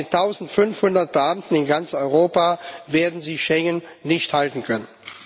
Aber mit 1500 Beamten in ganz Europa werden Sie Schengen nicht halten können.